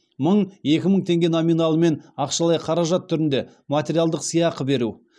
мың екі мың теңге номиналымен ақшалай қаражат түрінде материалдық сыйақы беру